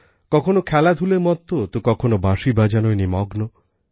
কখনো খেলাধূলায় মত্ত তো কখনো বাঁশি বাজানোয় নিমগ্ন